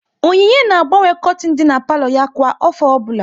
Onyinye na-agbanwe kortin dị n'palo ya kwa afọ ọbụla